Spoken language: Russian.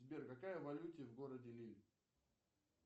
сбер какая валюта в городе лилль